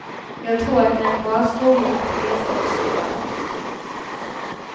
Jag tror att det är en bra skola att resa och se världen.